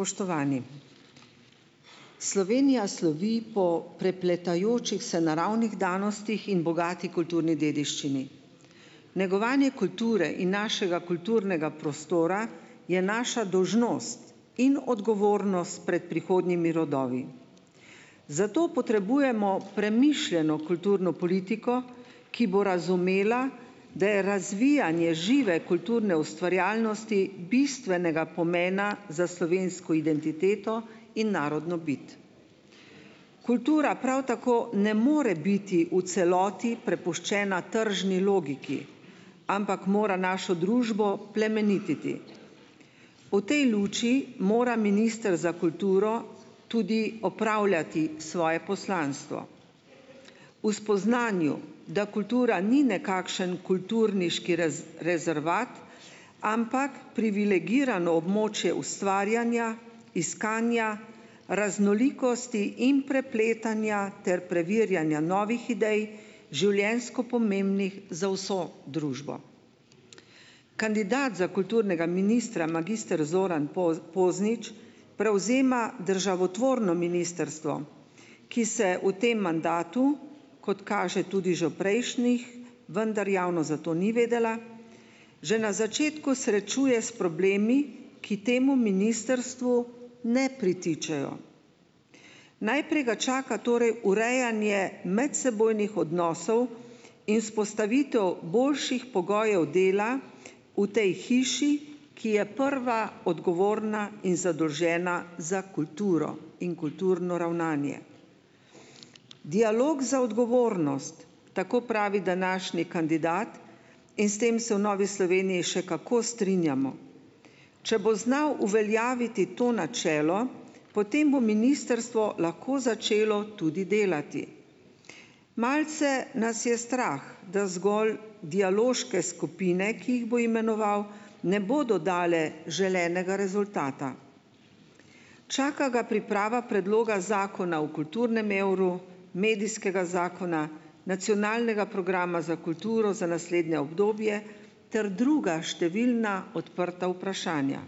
Spoštovani! Slovenija slovi po prepletajočih se naravnih danostih in bogati kulturni dediščini. Negovanje kulture in našega kulturnega prostora je naša dolžnost in odgovornost pred prihodnjimi rodovi. Zato potrebujemo premišljeno kulturno politiko, ki bo razumela, da je razvijanje žive kulturne ustvarjalnosti bistvenega pomena za slovensko identiteto in narodno bit. Kultura prav tako ne more biti v celoti prepuščena tržni logiki, ampak mora našo družbo plemenititi. V tej luči mora minister za kulturo tudi opravljati svoje poslanstvo. V spoznanju, da kultura ni nekakšen kulturniški rezervat, ampak privilegirano območje ustvarjanja, iskanja, raznolikosti in prepletanja ter preverjanja novih idej, življenjsko pomembnih za vso družbo. Kandidat za kulturnega ministra magister Zoran Poznič prevzema državotvorno ministrstvo, ki se v tem mandatu, kot kaže tudi že v prejšnjih, vendar javnost za to ni vedela, že na začetku srečuje s problemi, ki temu ministrstvu ne pritičejo. Najprej ga čaka torej urejanje medsebojnih odnosov in vzpostavitev boljših pogojev dela v tej hiši, ki je prva odgovorna in zadolžena za kulturo in kulturno ravnanje. Dialog za odgovornost, tako pravi današnji kandidat, in s tem se v Novi Sloveniji še kako strinjamo. Če bo znal uveljaviti to načelo, potem bo ministrstvo lahko začelo tudi delati. Malce nas je strah, da zgolj dialoške skupine, ki jih bo imenoval, ne bodo dale želenega rezultata. Čaka ga priprava predloga zakona o kulturnem evru, medijskega zakona, nacionalnega programa za kulturo za naslednje obdobje ter druga številna odprta vprašanja.